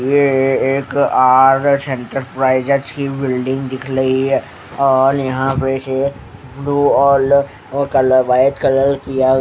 ये एक R S enterprises की बिल्डिंग दिख लही है औल यहा पे से दो और ।--